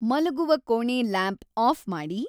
ಮಲಗುವ ಕೋಣೆ lamp off ಮಾಡಿ